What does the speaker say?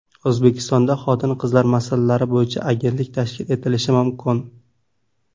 O‘zbekistonda xotin-qizlar masalalari bo‘yicha agentlik tashkil etilishi mumkin.